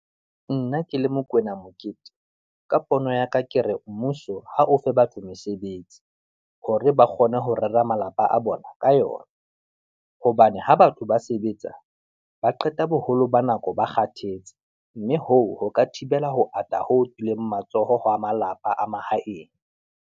Nna ke le Mokoena Mokete, ka pono ya ka ke re mmuso ha o fe batlo mesebetsi, hore ba kgone ho rera malapa a bona ka yona. Hobane ha batho ba sebetsa, ba qeta boholo ba nako ba kgathetse mme hoo ho ka thibela ho ata ho tswileng matsoho ho a malapa a mahaeng.